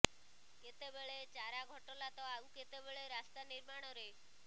କେତେ ବେଳେ ଚାରା ଘଟଲା ତ ଆଉ କେତେ ବେଳେ ରାସ୍ତା ନିର୍ମାଣରେ